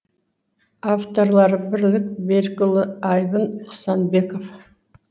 авторлары бірлік берікұлы айбын құсанбеков